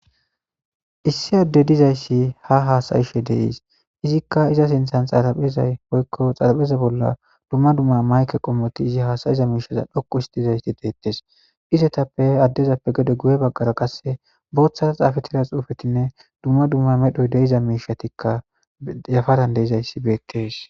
Issi adde dizayssi ha haasayishe de7ees; izikka iza sinththan xaraphezay woykko xalapheza bolla dumma dumma mayke qommothi izi haasayiza miishaza dhoqu oothizayassi deeththes; izethappe addezappe gede guye baggara qasse booththara xaafeththira xuufethinne dumma dumma medhoy de7iza miishathikka yafadan de7izayssi beeththes.